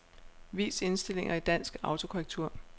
Vis indstillinger i dansk autokorrektur.